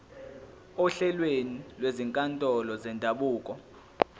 ohlelweni lwezinkantolo zendabuko